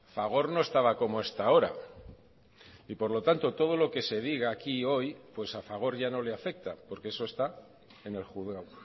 fagor no estaba como está ahora y por lo tanto todo lo que se diga aquí hoy pues a fagor ya no le afecta porque eso está en el juzgado